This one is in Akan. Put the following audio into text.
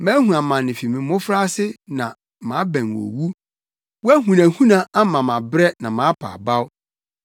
Mahu amane fi me mmofraase na mabɛn owu; wʼahunahuna ama mabrɛ na mapa abaw.